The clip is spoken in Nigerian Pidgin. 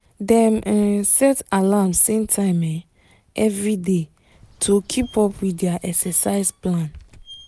dem um set alarm same time um every day day to keep up with their exercise plan